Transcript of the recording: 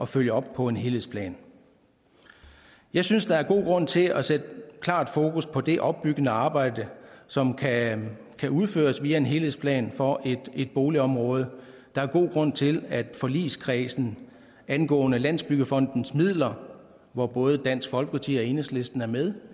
følge op på en helhedsplan jeg synes der er god grund til at sætte klart fokus på det opbyggende arbejde som kan kan udføres via en helhedsplan for et boligområde der er god grund til at forligskredsen angående landsbyggefondens midler hvor både dansk folkeparti og enhedslisten er med